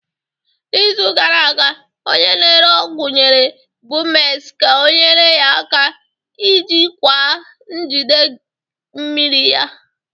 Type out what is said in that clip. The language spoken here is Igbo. N'izu gara aga, onye na-ere ọgwụ nyere Bumex ka ọnyere ya aka ijikwaa njigide mmiri ya.